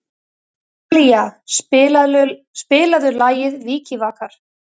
Talía, spilaðu lagið „Vikivakar“.